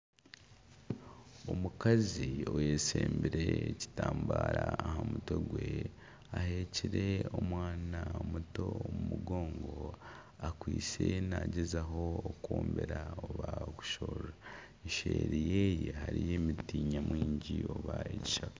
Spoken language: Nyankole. Omukazi oyeshembire ekitambara aha mutwe gwe aheekire omwana muto omu mugongo, akwaitse nagyezaho okwombera oba okushorora. Eseeri yeye hariyo emiti nyamwingi mwingi oba ekishaka.